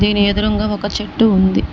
దీని ఎదురుంగా ఒక చెట్టు ఉంది.